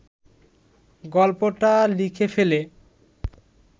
গল্পটা লিখে ফেলে